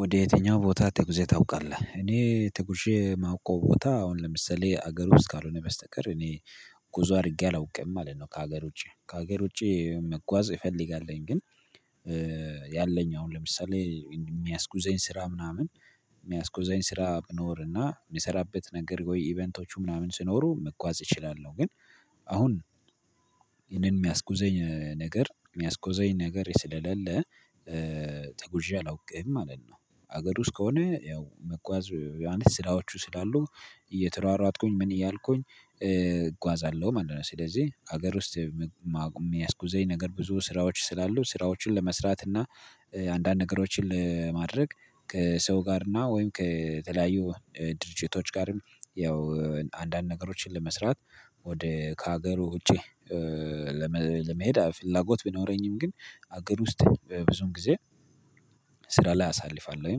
ወደ የትኛው ቦታ ትጉዜ ታውቃለህ? እኔ ትጉዤ የማውቀው ቦታ አሁን ለምሳሌ ሀገር ውስጥ ካልሆነ በስተቀር እኔ ጉዞ አድርጌ አላውቅም ማለት ነው። ከሀገር ውጪ ከሀገር ውጪ መጓዝ እፈልጋለሁኝ ግን። ያለኝ አሁን ለምሳሌ የሚያስጉዘኝ ስራ ምናምን የሚያስጉዘኝ ስራ ብኖርና የሚሰራበት ነገር ወይ ኢቨንቶች ምናምን ሲኖሩ መጓዝ እችላለሁ ግን አሁን ይሄንን የሚያስጉዘኝ ነገር የሚያስጉዘኝ ነገር ስለሌለ ተጉዤ አላውቅም ማለት ነው። ሀገር ውስጥ ከሆነ ያው መጓዝ ዮሐንስ ስራዎቹ ስላሉ እየተሯሯጥኩኝ ምን እያልኩኝ እጓዛለሁ ማለት ነው። ስለዚህ ሀገር ውስጥ የሚያስጉዘኝ ነገር ብዙ ስራዎች ስላሉ ስራዎችን ለመስራት እና አንዳንድ ነገሮችን ለማድረግ ከሰው ጋር እና ወይም ከተለያዩ ድርጅቶች ጋርም ያው አንዳንድ ነገሮችን ለመስራት ወደ ከሀገሩ ውጪ። ለመሄድ ፍላጎት ቢኖረኝም ግን አገር ውስጥ በብዙም ጊዜ ስራ ላይ አሳልፋለሁኝ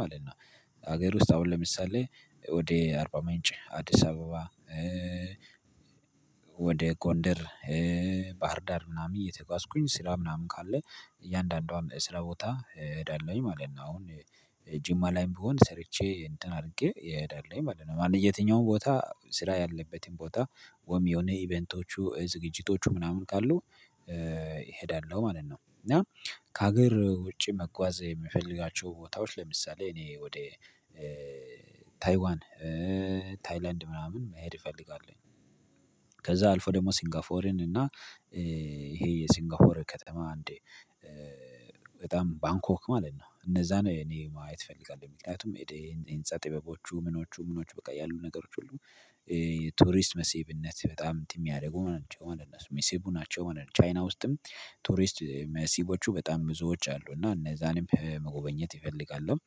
ማለት ነው። ሀገር ውስጥ አሁን ለምሳሌ ወደ አርባ ምንጭ አዲስ አበባ ወደ ጎንደር ባህርዳር ምናምን እየተጓዝኩኝ ስራ ምናምን ካለ እያንዳንዷም ስራ ቦታ እሄዳለሁኝ ማለት ነው። አሁን ጅማ ላይም ብሆን ሰርቼ እንትን አድርጌ እሄዳለሁኝ ማለት ነው። አንድ የትኛውም ቦታ ስራ ያለበትን ቦታ ወይም የሆነ ኢቨንቶቹ ዝግጅቶቹ ምናምን ካሉ እሄዳለሁ ማለት ነው። እና ከሀገር ውጪ መጓዝ የምፈልጋቸው ቦታዎች ለምሳሌ እኔ ወደ ታይዋን ታይላንድ ምናምን መሄድ እፈልጋለሁኝ። ከዛ አልፎ ደግሞ ሲንጋፎርን እና ይሄ የሲንጋፎር ከተማ አንዴ በጣም ባንኮክ ማለት ነው። እነዛን እኔ ማየት እፈልጋለሁ የምክንያቱም የንፃ ጥበቦቹ ምኖቹ ምኖቹ በቃ ያሉ ነገሮች ሁሉ ቱሪስት መሲብነት በጣም እንትን የሚያደርጉ ናቸው ማለት ነው ሚሲቡናቸው ማለት ነው። ሆነ ቻይና ውስጥም ቱሪስት መሲቦቹ በጣም ብዙዎች አሉ እና እነዛንም መጎበኘት እፈልጋለሁ።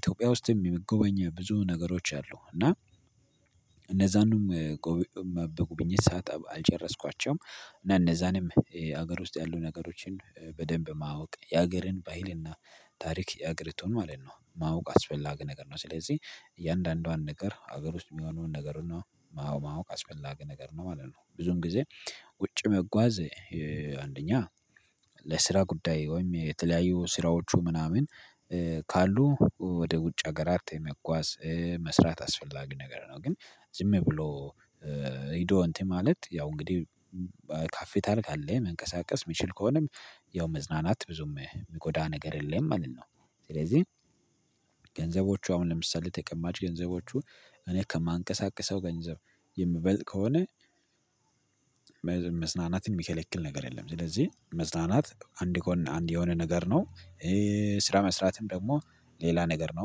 ኢትዮጵያ ውስጥም የምትጎበኘው ብዙ ነገሮች አሉ እና እነዛንም በጉብኝት ስዓት አልጨረስኳቸውም እና እነዛንም ሀገር ውስጥ ያሉ ነገሮችን በደንብ ማወቅ የሀገርን ባይልና ታሪክ የሀገሪቱን ማለት ነው ማወቅ አስፈላጊ ነገር ነው። ስለዚህ እያንዳንዷን ነገር ሀገር ውስጥ የሚሆነውን ነገር ነው ማወቅ አስፈላጊ ነገር ነው ማለት ነው። ብዙን ጊዜ ውጭ መጓዝ አንደኛ ለስራ ጉዳይ ወይም የተለያዩ ስራዎቹ ምናምን ካሉ ወደ ውጭ አገራት የመጓዝ መስራት አስፈላጊ ነገር ነው። ግን ዝም ብሎ ሄዶ እንትን ማለት ያው እንግዲህ ካፒታል ካለ መንቀሳቀስ የሚችል ከሆነም ያው መዝናናት ብዙም የሚጎዳ ነገር የለም ማለት ነው። ስለዚህ ገንዘቦቹ አሁን ለምሳሌ ተቀማጭ ገንዘቦቹ እኔ ከማንቀሳቀሰው ገንዘብ የምበልጥ ከሆነ መዝናናትን የሚከለክል ነገር የለም ስለዚህ መዝናናት አንድ ጎን አንድ የሆነ ነገር ነው። ስራ መስራትም ደግሞ ሌላ ነገር ነው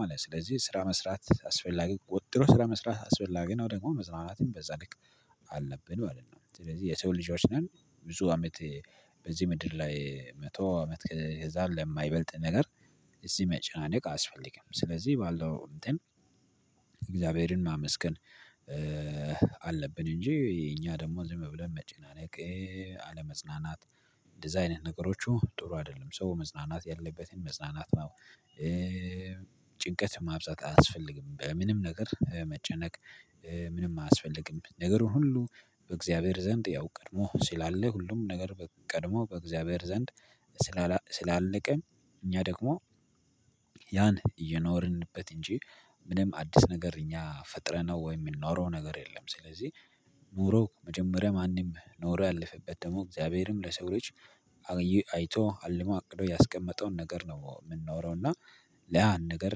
ማለት ነው። ስለዚህ ስራ መስራት አስፈላጊ ወጥሮ ስራ መስራት አስፈላጊ ነው ደግሞ መዝማናትም በዛልክ አለብን ማለት ነው። ስለዚህ የሰው ልጆችነን ብዙ አመት በዚህ ምድር ላይ መቶ አመት ከዛ ለማይበልጥ ነገር እዚህ መጨናነቅ አስፈልግም ስለዚህ ባለው እንትን እግዚአብሔርን ማመስገን አለብን እንጂ እኛ ደግሞ እዚህ መብለን መጨናነቅ አለመጽናናት እንደዚህ አይነት ነገሮቹ ጥሩ አይደለም። ሰው መዝናናት ያለበትን መዝናናት ጭንቀት ማብዛት አያስፈልግም። በምንም ነገር መጨነቅ ምንም አያስፈልግም ነገሩን ሁሉ በእግዚአብሔር ዘንድ ያው ቀድሞ ስላለ ሁሉም ነገር ቀድሞ በእግዚአብሔር ዘንድ። ስላለቀ እኛ ደግሞ ያን እየኖርንበት እንጂ ምንም አዲስ ነገር እኛ ፈጥረነው ወይ የሚኖረው ነገር የለም። ስለዚህ ኑሮ መጀመሪያ ማንም ኖሮ ያለፈበት ደግሞ እግዚአብሔርም ለሰው ልጅ አይቶ አልሞ አቅዶ ያስቀመጠውን ነገር ነው እምንኖረው እና። ለያን ነገር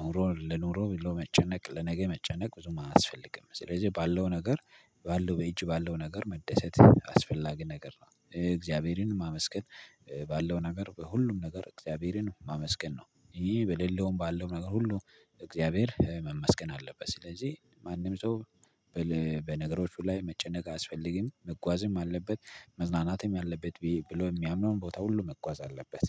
ኖሮ ለኖሮ ብሎ መጨነቅ ለነገ መጨነቅ ብዙም አያስፈልግም። ስለዚህ ባለው ነገር ባለው በእጅ ባለው ነገር መደሰት አስፈላጊ ነገር ነው። እግዚአብሔርንም ማመስገን ባለው ነገር በሁሉም ነገር እግዚአብሔርን ማመስገን ነው። ይሄ በሌለውም ባለው ነገር ሁሉ እግዚአብሔር መመስገን አለበት። ስለዚህ ማንም ሰው በነገሮቹ ላይ መጨነቅ አያስፈልግም መጓዝም አለበት መዝናናትም ያለበት ብሎ የሚያምነውን ቦታ ሁሉ መጓዝ አለበት